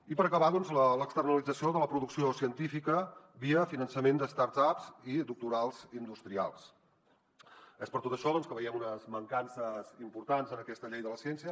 i per acabar doncs l’externalització de la producció científica via finançament de start upsés per tot això doncs que veiem unes mancances importants en aquesta llei de la ciència